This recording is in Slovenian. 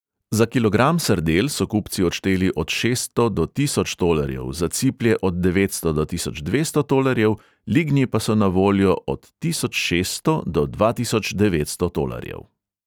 Za kilogram sardel so kupci odšteli od šeststo do tisoč tolarjev, za ciplje od devetsto do tisoč dvesto tolarjev, lignji pa so na voljo od tisoč šeststo do dva tisoč devetsto tolarjev.